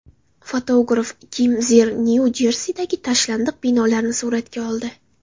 Fotograf Kim Zir Nyu-Jersidagi tashlandiq binolarni suratga oldi.